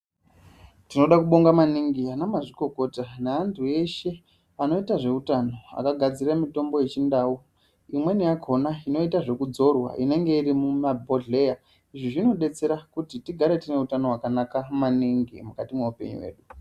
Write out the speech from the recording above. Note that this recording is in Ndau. Tinode kubonga maningi ana mazvikokota neandu eshe anoita zveutano akagadzira mutombo yechindau imweni yakhona inoita zvekudzorwa inenge iri mumabhodhkeya izvi zvinodetsera tigare tine utano hwakanaka maningi mukati mweupenyu hwedu.